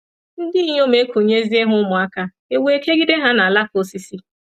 Ndị inyom ekunyezie ha ụmụaka, e wee kegide ha n’alaka osisi.